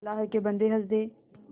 अल्लाह के बन्दे हंस दे